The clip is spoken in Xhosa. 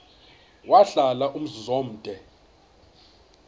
wahlala umzum omde